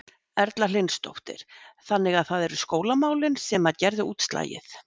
Erla Hlynsdóttir: Þannig að það eru skólamálin sem að gerðu útslagið?